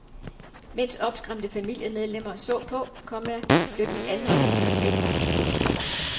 Mens opskræmte familiemedlemmer så på, komma blev de anholdte ført væk. punktum